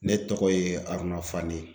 Ne tɔgɔ ye Aruna Fane.